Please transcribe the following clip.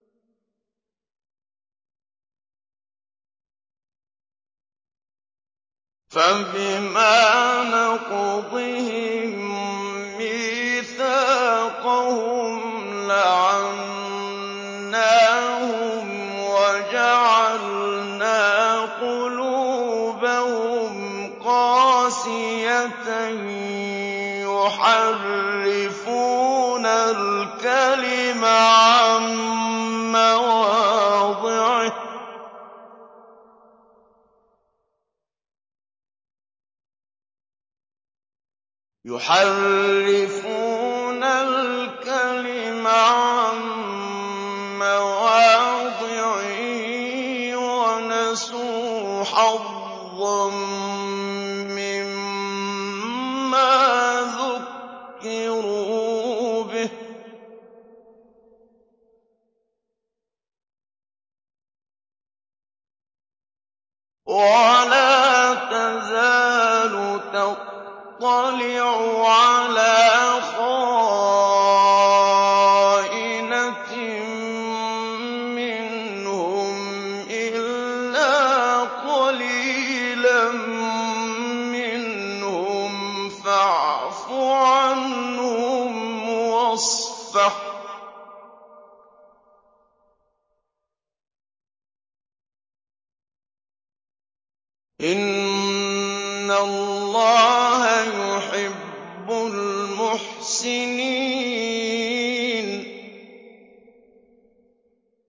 فَبِمَا نَقْضِهِم مِّيثَاقَهُمْ لَعَنَّاهُمْ وَجَعَلْنَا قُلُوبَهُمْ قَاسِيَةً ۖ يُحَرِّفُونَ الْكَلِمَ عَن مَّوَاضِعِهِ ۙ وَنَسُوا حَظًّا مِّمَّا ذُكِّرُوا بِهِ ۚ وَلَا تَزَالُ تَطَّلِعُ عَلَىٰ خَائِنَةٍ مِّنْهُمْ إِلَّا قَلِيلًا مِّنْهُمْ ۖ فَاعْفُ عَنْهُمْ وَاصْفَحْ ۚ إِنَّ اللَّهَ يُحِبُّ الْمُحْسِنِينَ